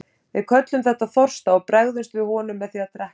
Við köllum þetta þorsta og bregðumst við honum með því að drekka.